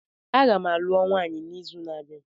Agam alụọ nwaanyi n'izu na-abịa